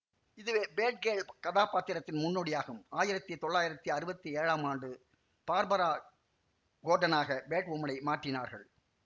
இதுவே பேட்கேர்ள் கதாப்பாத்திரத்தின் முன்னோடியாகும் ஆயிரத்தி தொள்ளாயிரத்தி அறுவத்தி ஏழாம் ஆண்டு பார்பரா கோர்டனாக பேட்வுமனை மாற்றினார்கள்